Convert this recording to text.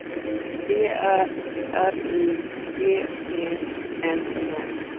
D Ä R I G E N O M